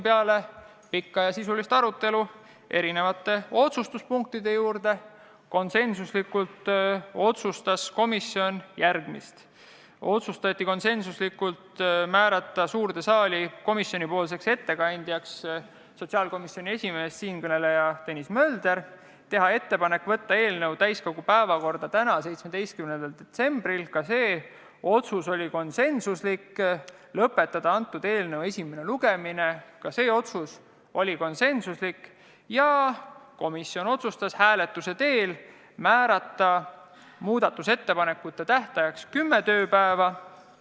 Peale pikka ja sisulist arutelu otsustas komisjon konsensuslikult järgmist: määrata suures saalis komisjonipoolseks ettekandjaks sotsiaalkomisjoni esimees, siinkõneleja Tõnis Mölder; teha ettepanek võtta eelnõu täiskogu päevakorda tänaseks, 17. detsembriks ; lõpetada eelnõu esimene lugemine ; hääletamise teel määrata muudatusettepanekute esitamise tähtajaks kümme tööpäeva.